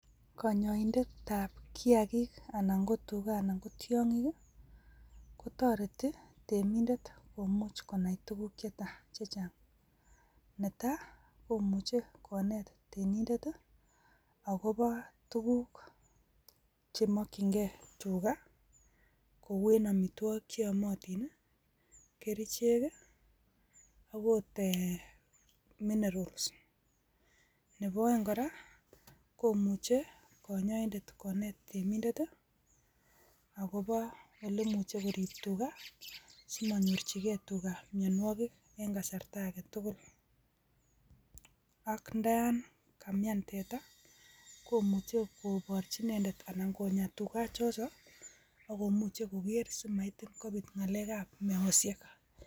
Konyoindetab kiyaagik Alan ko tugaa, alan ko tiong'iik i,kotoretii temindet komuch konai tuguuk chechang .Nitok komuche konet reminder akobo tuguuk, chemokyingei tugaa. Kouen amitwogiik cheyoomotin, kerichek ak ot e minerals. Nebo oeng kora komuche konet chito netemindet akobo kerichek chemokyingei tugaa sikostoengei mionwogiik en kasarta agetugul. Akot ndayan kamian tetaa koborchi inendet amun konyoo koger simonyoor meosiek.